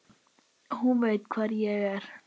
Hún veit hvar ég er.